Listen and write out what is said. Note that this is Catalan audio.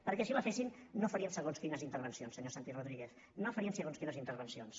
perquè si la fessin no farien segons quines intervencions senyor santi rodríguez no farien segons quines intervencions